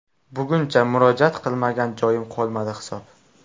Bugungacha murojaat qilmagan joyim qolmadi hisob.